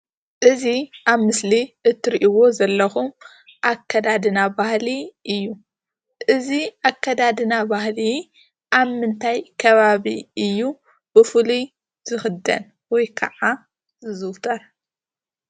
እዚ አብ ምስሊ እትሪእዎ ዘለኩም አከዳድና ባህሊ እዩ። እዚ አከዳድና ባህሊ አብ ምንታይ ከባቢ እዩ ብፉሉይ ዝክደን ወይ ከዓ ዝዝውተር?